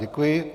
Děkuji.